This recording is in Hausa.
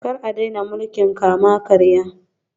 Kar a daina mulkin kama-karya